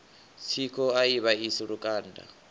tsiko a i vhaisi lukanda